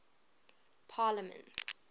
parliaments